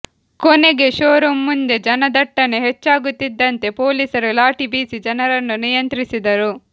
ಕೊನೆಗೆ ಶೋರೂಂ ಮುಂದೆ ಜನದಟ್ಟಣೆ ಹೆಚ್ಚಾಗುತ್ತಿದಂತೆ ಪೊಲೀಸರು ಲಾಠಿ ಬೀಸಿ ಜನರನ್ನು ನಿಯಂತ್ರಿಸಿದರು